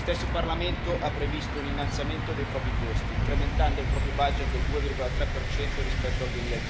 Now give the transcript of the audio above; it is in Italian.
Lo stesso Parlamento ha previsto un innalzamento dei propri costi, incrementando il proprio budget del 2,3 rispetto al